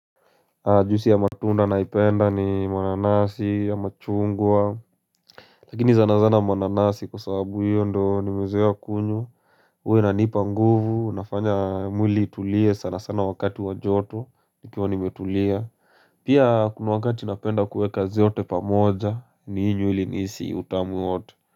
Juisi ya matunda ninayoipenda ni mananasi, ya machungwa, Lakini sanasana mananasi kwa sababu hiyo ndo nimezoea kunywa huwa inanipa nguvu inafanya mwili itulie sana sana wakati wa joto nikiwa nimetulia Pia kuna wakati napenda kuweka zote pamoja ni ili nihisi utamu wote.